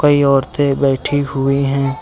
कई औरतें बैठी हुई हैं।